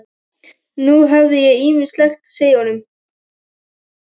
Nú hafði ég ýmislegt að segja honum.